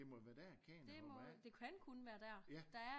Det må jo være der kæden er hoppet af